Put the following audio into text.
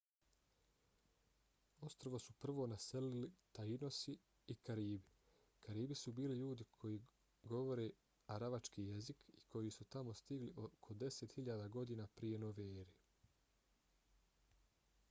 ostrvo su prvo naselili tainosi i karibi. karibi su bili ljudi koji govore aravački jezik i koji su tamo stigli oko 10.000 godina prije nove ere